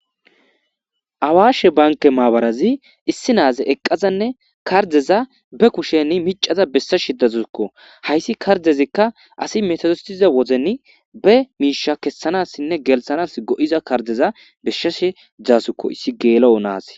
Awaashe banke maabarazi issi na7aze eqqazanne kardeza be kusheni micaza bessa shidazukko hayssi kardezikka asi metodostiza wozeni be miisha kessanassinne gelthanas go7iza kardeza beshshashe dzaasukko issi geelo7onaas.